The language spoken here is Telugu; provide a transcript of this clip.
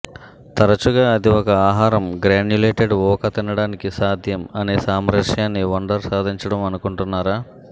తరచుగా అది ఒక ఆహారం గ్రాన్యులేటెడ్ ఊక తినడానికి సాధ్యం అనే సామరస్యాన్ని వండర్ సాధించటం అనుకుంటున్నారా